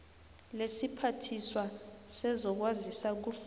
lesiphathiswa sezokwazisa kufuze